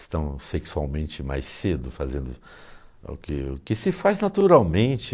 estão sexualmente mais cedo fazendo o que o que se faz naturalmente.